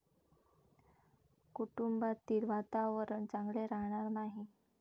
कुटुंबातील वातावरण चांगले राहणार नाही.